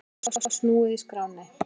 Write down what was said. Lykli var snúið í skránni.